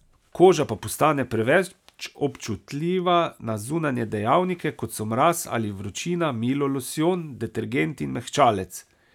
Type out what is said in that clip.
Koža pa postane preveč občutljiva na zunanje dejavnike, kot so mraz ali vročina, milo, losjon, detergenti in mehčalec.